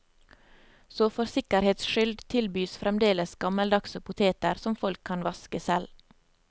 Så for sikkerhets skyld tilbys fremdeles gammeldagse poteter som folk kan vaske selv.